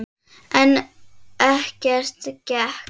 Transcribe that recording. En ekkert gekk.